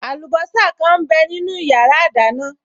Àlùbọ́sà kan m bẹ nínu yàrá ìdáná